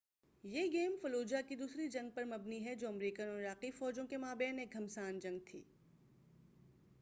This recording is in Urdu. یہ گیم فلوجہ کی دوسری جنگ پر مبنی ہے جو امریکن اور عراقی فوجوں کے مابین ایک گھمسان جنگ تھی